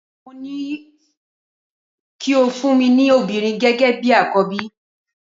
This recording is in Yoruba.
Mo ní o kí o fún mi ní obìnrin gẹ́gẹ́ bi àkọ́bí.